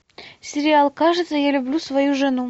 сериал кажется я люблю свою жену